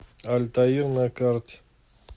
альтаир на карте